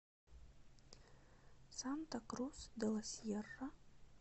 санта крус де ла сьерра